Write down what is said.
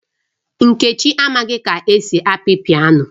Nkechi amaghi ka esi api piano